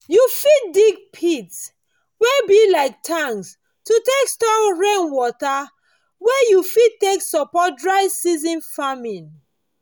you fit dig pits wey go be like tanks to take store rain water wey you fit take support dry season farming